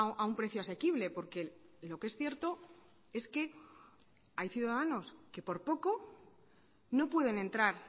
a un precio asequible porque lo que es cierto es que hay ciudadanos que por poco no pueden entrar